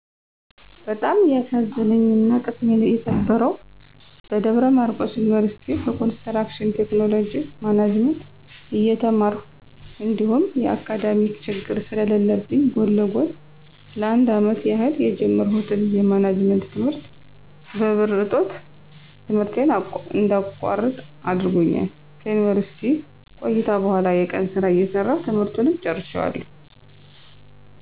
በጣም ያሳዘነኝና ቅስሜን የሰበረው በደብረማርቆስ ዩኒቭርሲቲ በኮንስትራክሽን ቴክኖሎጅ ማኔጅመንት እየተማርሁ እንዲሁም የአካዳሜክ ችግር ስለለብኝ ጎን ለጎን ለ፩አመት ያህል የጀመርሁትን የማኔጅመንት ት/ት በብር እጦት ት/ቴን እንዳቋርጥ አድርጎኛል። ከዩኒቭርስሲቲ ቆይታ በኋላ የቀን ስራ እየሰራሁ ት/ቱን ጨርሸዋለሁ።